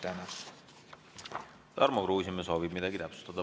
Tarmo Kruusimäe soovib midagi täpsustada.